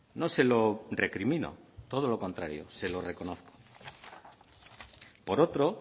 no se lo recrimino todo lo contrario se lo reconozco por otro